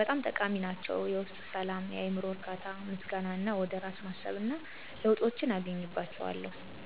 በጣም ጠቃሚ ናቸው የውስጥ ሰላም፣ የአዕምሮ እርካታ፣ ምስጋና እና ወደ ራስ ማሰብ እና ለውጦች አገኝባቸዋለሁ።